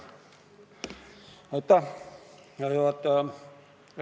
Härra juhataja!